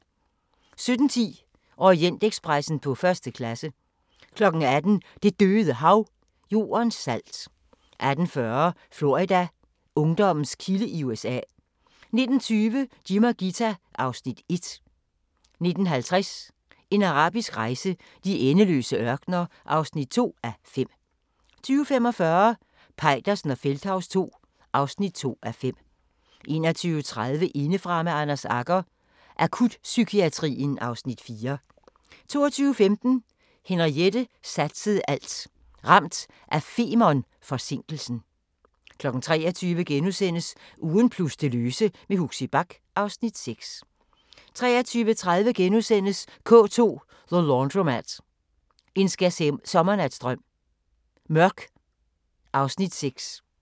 17:10: Orientekspressen på første klasse 18:00: Det Døde Hav – Jordens salt 18:40: Florida: Ungdommens kilde i USA 19:20: Jim og Ghita (Afs. 1) 19:50: En arabisk rejse: De endeløse ørkener (2:5) 20:45: Peitersen og Feldthaus II (2:5) 21:30: Indefra med Anders Agger – Akutpsykiatrien (Afs. 4) 22:15: Henriette satsede alt – ramt af Fermern-forsinkelsen 23:00: Ugen plus det løse med Huxi Bach (Afs. 6)* 23:30: K2 – The Laundromat – En skærsommernatsdrøm – Mørk (Afs. 6)*